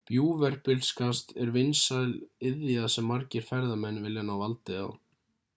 bjúgverpilskast er vinsæl iðja sem margir ferðamenn vilja ná valdi á